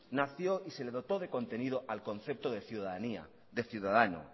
nació y se le dotó de contenido al concepto de ciudadanía de ciudadano